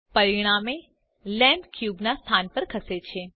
પરિણામે લેમ્પ ક્યુબના સ્થાન પર ખસે છે